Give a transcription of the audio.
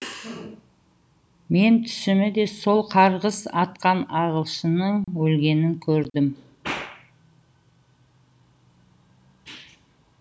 мен түсімі де сол қарғыс атқан ағылшынның өлгенін көрдім